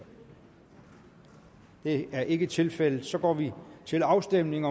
det er ikke tilfældet så går vi til afstemning